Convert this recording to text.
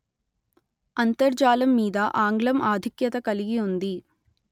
అంతర్జాలం మీద ఆంగ్లం ఆధిక్యత కలిగి ఉంది